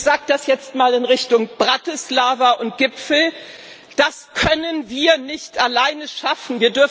Ich sage das jetzt mal in Richtung Bratislava und Gipfel Das können wir nicht alleine schaffen